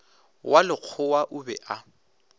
wa lekgowa o be a